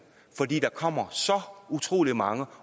for der kommer så utrolig mange